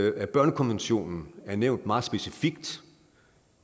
at børnekonventionen er nævnt meget specifikt